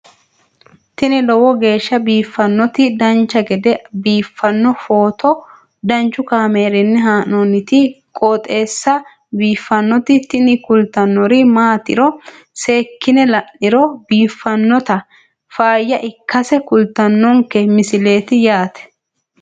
tini lowo geeshsha biiffannoti dancha gede biiffanno footo danchu kaameerinni haa'noonniti qooxeessa biiffannoti tini kultannori maatiro seekkine la'niro biiffannota faayya ikkase kultannoke misileeti yaate